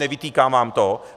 Nevytýkám vám to.